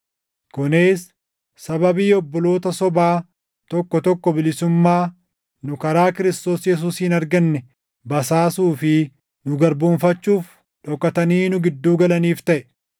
Kunis sababii obboloota sobaa tokko tokko bilisummaa nu karaa Kiristoos Yesuusiin arganne basaasuu fi nu garboomfachuuf dhokatanii nu gidduu galaniif taʼe.